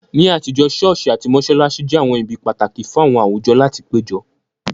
Ní àtijọ́, ṣọ́ọ̀ṣì àti mọ́ṣáláṣí jẹ́ àwọn ibi pàtàkì fún àwọn àwùjọ láti péjọ